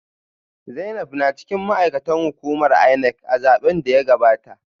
Zainab na cikin ma’aikatan hukumar INEC a zaben da ya gabata